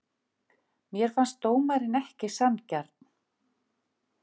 Mér fannst dómarinn ekki sanngjarn.